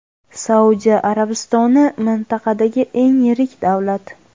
Saudiya Arabistoni mintaqadagi eng yirik davlat.